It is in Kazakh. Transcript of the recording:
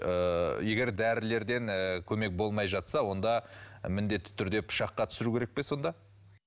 ыыы егер дәрілерден ыыы көмек болмай жатса онда міндетті түрде пышаққа түсіру керек пе сонда